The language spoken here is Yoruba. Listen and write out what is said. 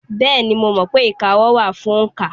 Bẹ́ẹ̀ni, mo mọ̀ pé ìka ọwọ́ wà fún òǹkà.